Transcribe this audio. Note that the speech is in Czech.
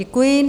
Děkuji.